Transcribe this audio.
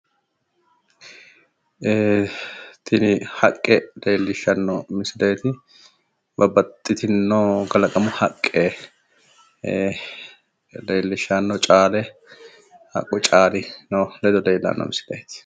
ee tini haqqe leellishshanno misileeti babbaxitinno kalaqamu haqqe ee leellishshanno caale haqqu caalino lede leellanno misileeti.